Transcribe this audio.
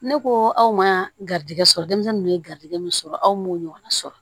Ne ko aw ma garijɛgɛ sɔrɔ denmisɛnninw ye garijɛgɛ min sɔrɔ aw m'o ɲɔgɔnna sɔrɔ